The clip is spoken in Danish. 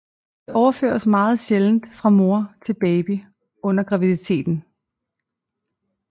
Det overføres meget sjældent fra mor til baby under graviditeten